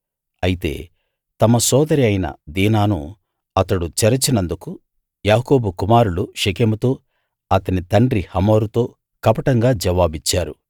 అయితే తమ సోదరి అయిన దీనాను అతడు చెరిచినందుకు యాకోబు కుమారులు షెకెముతో అతని తండ్రి హమోరుతో కపటంగా జవాబిచ్చారు